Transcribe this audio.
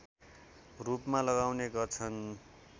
रूपमा लगाउने गर्छन्